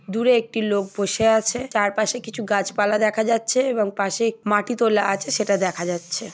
দূরে একটি লোক বসে আছে। চারপাশে কিছু গাছপালা দেখা যাচ্ছে এবং পাশে মাটি তোলা আছে সেটা দেখা যাচ্ছে।